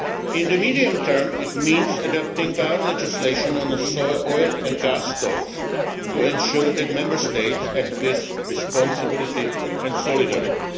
In the medium term, it means adapting our legislation on oil and gas stocks to ensure that Member States act with responsibility and solidarity.